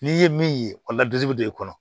N'i ye min ye o ladisubi bɛ don i kɔnɔ